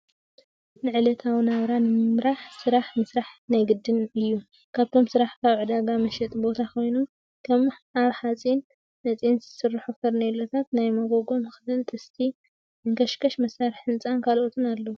ንዕለታዊ ናብራ ንምምራሕ ስራሕ ምስራሕ ናይ ግድን እዩ ካብቶም ስራሕ ሓደ ዕዳጋ መሸጢ ቦታ ኮይኑ ከም ካብ ሓፂን መፂን ዝስርሑ ፈርኒሎን ናይ መጎጎ መክደን ፣ ጥስቲ፣ መንከሽከሽ፣ መሳርሒ ህንፃን፣ ካልኦት ኣለዉ።